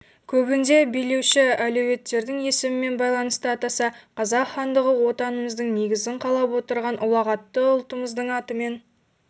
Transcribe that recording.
көбінде билеуші әулеттердің есімімен байланысты атаса қазақ хандығы отанымыздың негізін қалап отырған ұлағатты ұлтымыздың атымен